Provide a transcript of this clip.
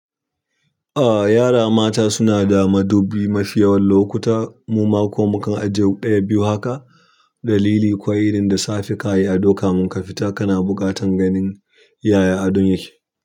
A yara mata suna da madubi mafi yawan lokuta. Mu ma ku ma mu kan ajiye ɗaya biyu haka. Dalili, kuwa irin da safe ka yi ado kamin ka fita, kana buƙatan ganin yaya adon yake.